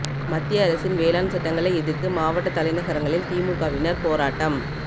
மத்திய அரசின் வேளாண் சட்டங்களை எதிர்த்து மாவட்ட தலைநகரங்களில் திமுகவினர் போராட்டம்